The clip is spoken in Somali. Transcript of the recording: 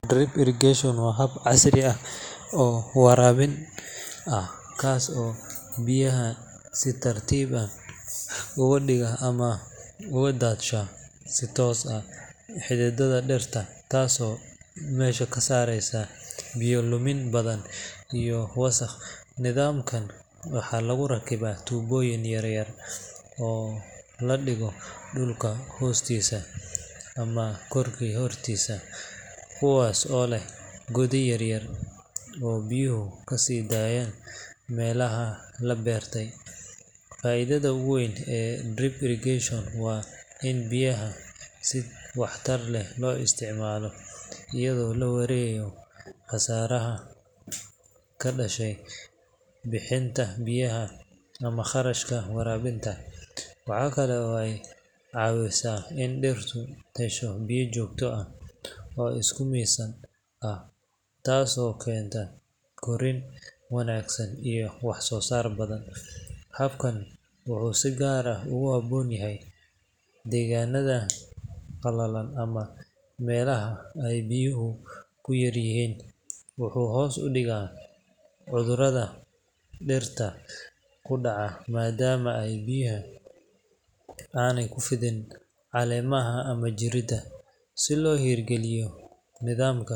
Drip Irrigation waa hab casri ah oo waraabin ah, kaas oo biyaha si tartiib ah ugu shuba ama ugu daadsha si toos ah xididdada dhirta. Tani waxay meesha ka saartaa biyo-dhumin badan iyo wasakh. Nidaamkan maxaa lagu rakibaa? Tuubooyin yaryar oo la dhigo dhulka hoostiisa ama dusha sare, kuwaas oo leh godad yaryar oo biyaha ka sii daaya meelaha la beero. Faa’iidada ugu weyn ee drip irrigation waa in biyaha si waxtar leh loo isticmaalo, iyadoo la yareynayo khasaaraha ka dhasha bixinta biyaha ama qarashka biyaha. Waxay kaloo ka caawisaa in dhirtu hesho biyo joogto ah oo isku miisaaman, taasoo keenta korriin wanaagsan iyo wax-soo-saar badan. Habkan wuxuu si gaar ah ugu habboon yahay deegaannada qallalan ama meelaha biyuhu ku yar yihiin. Wuxuu hoos u dhigaa cudurrada dhirta ku dhaca, maadaama biyaha aysan ku fidan caleemaha ama jirridda. Si loo hirgeliyo nidaamkan, waa in si sax ah loo qorsheeyo oo loo rakibaa qalabka waraabinta.